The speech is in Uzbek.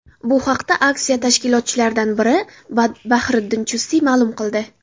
Bu haqda aksiya tashkilotchilaridan biri Bahriddin Chustiy ma’lum qildi .